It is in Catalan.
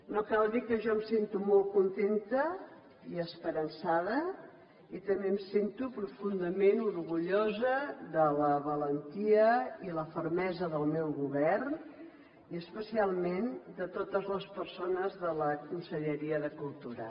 no cal dir que jo em sento molt contenta i esperançada i també em sento profundament orgullosa de la valentia i la fermesa del meu govern i especialment de totes les persones de la conselleria de cultura